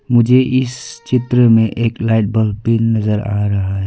मुझे इस चित्र में एक लाइट बल्ब भी नजर आ रहा है।